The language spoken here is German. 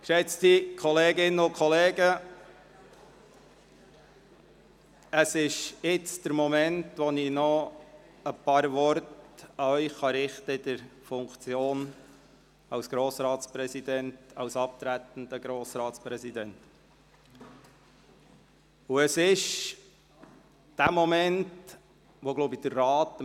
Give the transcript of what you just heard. Geschätzte Kolleginnen und Kollegen, jetzt ist der Moment gekommen, um in der Funktion als abtretender Grossratspräsident noch ein paar Worte an Sie zu richten.